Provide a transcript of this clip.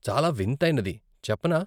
చాల వింతైనది, చెప్పనా?